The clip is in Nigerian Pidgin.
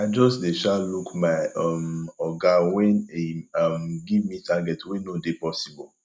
i just dey um look my um oga wen im um give me target wey no dey possible